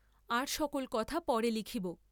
আর সকল করা পরে লিখিব।